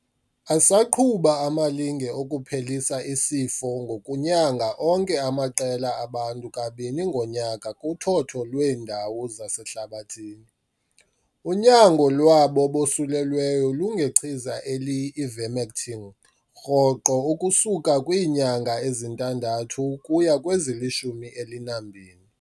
Asaqhuba amalinge okuphelisa isifo ngokunyanga onke amaqela abantu kabini ngonyaka kuthotho lweendawo zasehlabathini. Unyango lwabo bosulelweyo lungechiza eliyi-ivermectin rhoqo ukusuka kwiinyanga ezintandathu ukuya kwezilishumi elinambini.